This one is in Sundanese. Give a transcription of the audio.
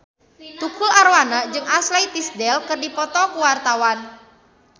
Tukul Arwana jeung Ashley Tisdale keur dipoto ku wartawan